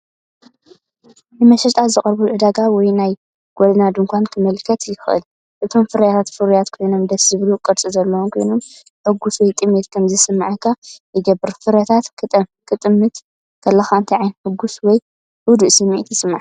ንመሸጣ ዝቐርብሉ ዕዳጋ ወይ ናይ ጎደና ድኳን ከመልክት ይኽእል። እቶም ፍረታት ፍሩያት ኮይኖም ደስ ዘብል ቅርጺ ዘለዎም ኮይኖም፡ ሕጉስ ወይ ጥሜት ከም ዝስምዓካ ይገብር። ፍረታት ክትጥምት ከለኻ እንታይ ዓይነት ሕጉስ ወይ ህዱእ ስምዒት ይስምዓካ?